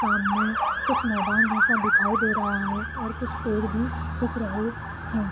सामने कुछ मैदान जैसा दिखाई दे रहा है और कुछ पेड़ भी दिख रहे है।